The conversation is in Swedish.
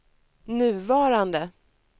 nuvarande